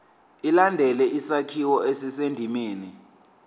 ilandele isakhiwo esisendimeni